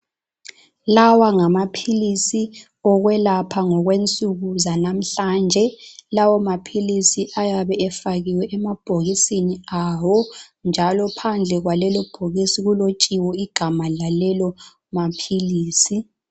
Lawa ngamaphilisi okwelapha ngokwensuku zanamhlanje lawo maphilisi ayabe efakiwe emabhokisini awo. Njalo phandle kwalelobhokisi kulotshiwe igama lalelo maphilisi.